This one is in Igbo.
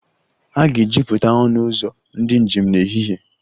A ga-ejupụta ọnụ ụzọ ndị njem n'ehihie